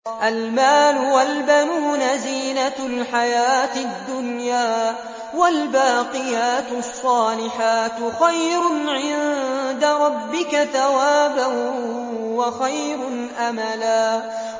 الْمَالُ وَالْبَنُونَ زِينَةُ الْحَيَاةِ الدُّنْيَا ۖ وَالْبَاقِيَاتُ الصَّالِحَاتُ خَيْرٌ عِندَ رَبِّكَ ثَوَابًا وَخَيْرٌ أَمَلًا